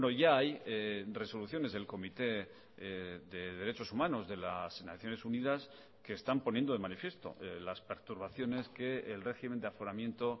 ya hay resoluciones del comité de derechos humanos de las naciones unidas que están poniendo de manifiesto las perturbaciones que el régimen de aforamiento